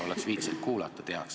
Oleks viitsinud kuulata, teaks.